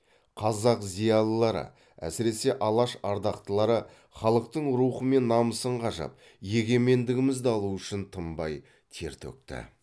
қазақ зиялылары әсіресе алаш ардақтылары халықтың рухы мен намысын қажап егемендігімізді алу үшін тынбай тер төкті